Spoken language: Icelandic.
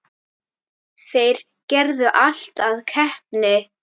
Þeir gerðu allt að keppni.